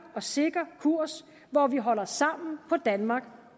og sikker kurs hvor vi holder sammen på danmark